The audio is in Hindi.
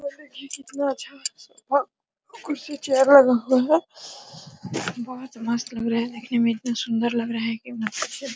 कितना अच्छा कुर्सी चेयर लगा हुआ हैं बहुत मस्त लग रहा है देखने में एक दम सुन्दर लग रहा है देखने में।